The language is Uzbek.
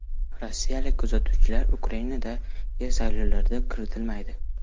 Rossiyalik kuzatuvchilar Ukrainadagi saylovlarga kiritilmaydi.